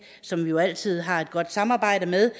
som vi jo altid har et godt samarbejde med